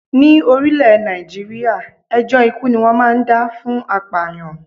Ní orílè Nàìjíríà, ẹjọ́ ikú ni wón máa ń dá fún apàyàn.